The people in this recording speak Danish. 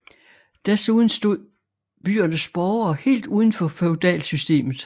Desuden stod byernes borgere helt uden for feudalsystemet